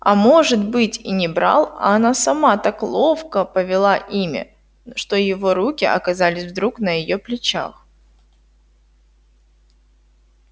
а может быть и не брал а она сама так ловко повела ими что его руки оказались вдруг на её плечах